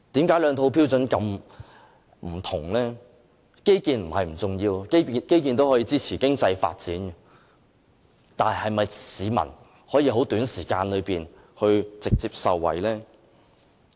基建並非不重要，基建也可以支持經濟發展，但市民能否在很短時間內直接受惠呢？